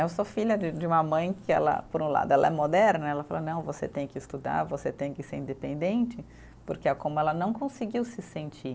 Eu sou filha de de uma mãe que ela, por um lado, ela é moderna, ela fala, não, você tem que estudar, você tem que ser independente, porque é como ela não conseguiu se sentir.